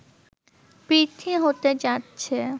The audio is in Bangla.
বৃদ্ধি হতে যাচ্ছে